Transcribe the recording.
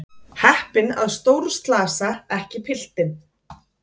Heppinn að stórslasa ekki piltinn.